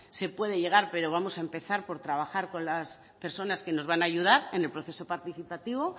se puede llegar pero vamos a empezar por trabajar con las personas que nos van a ayudar en el proceso participativo